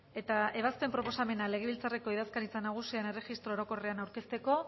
eta ebazpen proposamena legebiltzarreko idazkaritza nagusian erregistro orokorrean aurkezteko